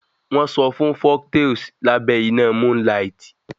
Folktales are told under monnlight